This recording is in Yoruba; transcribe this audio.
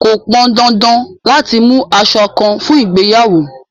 Kò pọn dandan láti mú aṣọ àńkò fún ìgbéyàwó